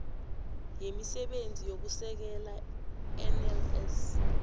yemisebenzi yokusekela nls